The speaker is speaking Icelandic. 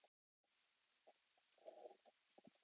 Fá sér í mesta lagi bíltúr til